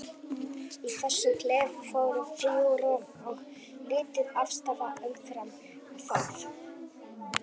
Í þessum klefa voru þrjú rúm og lítil aðstaða umfram það.